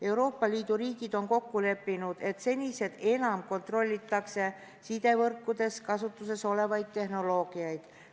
Euroopa Liidu riigid on kokku leppinud, et sidevõrkudes kasutusel olevaid tehnoloogiad kontrollitakse senisest enam.